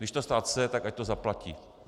Když to stát chce, tak ať to zaplatí.